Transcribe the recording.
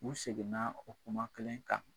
U seginna o kuma kelen kan.